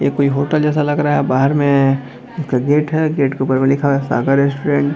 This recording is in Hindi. ये कोई होटल जैसा लग रहा है बाहर में एक गेट है गेट के ऊपर में लिखा है सागर रेस्टोरेंट .